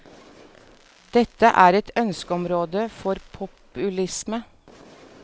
Dette er et ønskeområde for populisme.